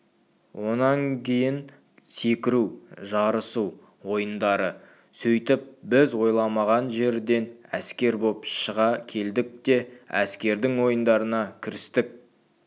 онан кейін секіру жарысу ойындары сөйтіп біз ойламаған жерден әскер боп шыға келдік те әскердің ойындарына кірістік